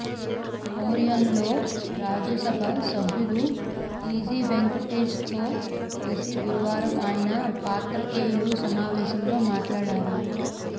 మౌర్యఇన్లో రాజ్యసభ సభ్యులు టీజీ వెంకటేష్తో కలిసి గురువారం ఆయన పాత్రికేయుల సమావేశంలో మాట్లాడారు